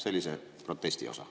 See oli see protestiosa.